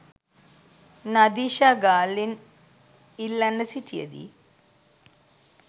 නදීෂා ගාල්ලෙන් ඉල්ලන්න සිටිය දී